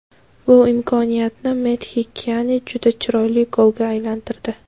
Bu imkoniyatni Mehdi Kiani juda chiroyli golga aylantirdi.